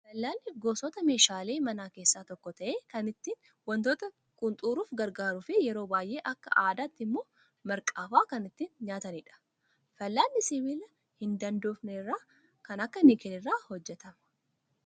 Fal'aanni gosoota meeshaalee manaa keessaa tokko ta'ee, kan ittiin wantoota qunxuruuf gargaaruu fi yeroo baay'ee akka aadaatti immoo marqaa fa'aa kan ittiin nyaatanidha. Fal'aanni sibiila hin daandofne kan akka nikeelii irraa hojjatama.